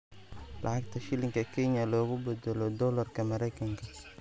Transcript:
lacagta shilinka Kenya loogu badalo doolarka Maraykanka